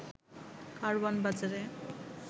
কারওয়ান বাজারে